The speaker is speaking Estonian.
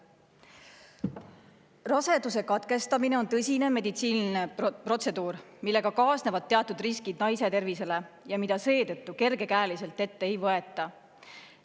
Raseduse katkestamine on tõsine meditsiiniline protseduur, millega kaasnevad teatud riskid naise tervisele ja mida seetõttu kergekäeliselt ette ei võeta.